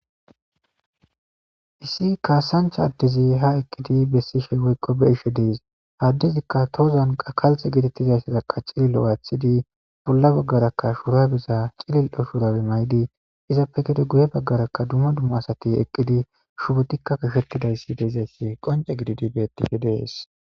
Issi kaasancha addezi ha eqkidi bessishe woykko beishe dees addezikka toozan qakalte gidettizayssadaqa cililo waathidi bolla baggarakka shuurabeza cilil7o shuurawe maydi izappe gede guye baggarakka dumma dumma asati eqqidi shubotikka kashettidayssi deezayssi qonce gididi bettihe dees.